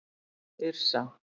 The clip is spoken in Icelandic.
Yrsa